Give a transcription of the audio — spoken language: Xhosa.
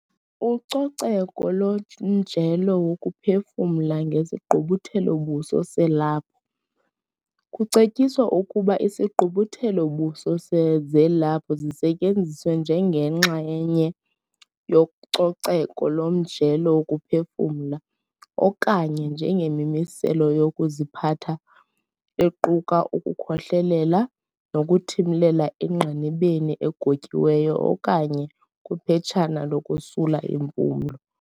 Ucoceko lomjelo wokuphefumla ngesigqubuthelo-buso selaphu. Kucetyiswa ukuba izigqubuthelo-buso zelaphu zisetyenziswe njengenxa lenye yococeko lomjelo wokuphefumla okanye njengemimiselo yokuziphatha equka ukukhohlelela nokuthimlela engqinibeni egotyiweyo okanye kwiphetshana lokosula impumlo.